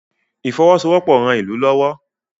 ifowosowopo rán ilú lówó